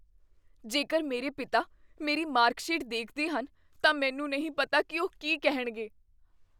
ਜੇਕਰ ਮੇਰੇ ਪਿਤਾ ਮੇਰੀ ਮਾਰਕਸ਼ੀਟ ਦੇਖਦੇ ਹਨ, ਤਾਂ ਮੈਨੂੰ ਨਹੀਂ ਪਤਾ ਕੀ ਉਹ ਕੀ ਕਹਿਣਗੇ।